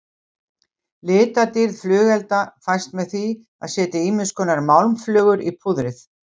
Litadýrð flugelda fæst með því að setja ýmiskonar málmflögur í púðrið.